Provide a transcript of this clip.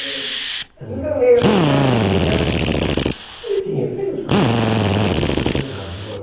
Às vezes eu leio as histórias dele e acho que... Ele tinha feito as coisas boas e as coisas erradas.